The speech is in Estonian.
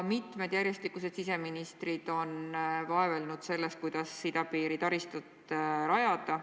Mitu järjestikust siseministrit on vaevelnud küsimuse kallal, kuidas idapiiri taristut rajada.